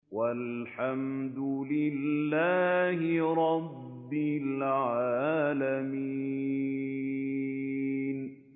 وَالْحَمْدُ لِلَّهِ رَبِّ الْعَالَمِينَ